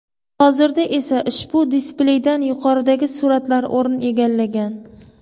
Hozirda esa ushbu displeydan yuqoridagi suratlar o‘rin egallagan.